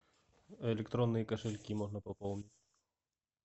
электронные кошельки можно пополнить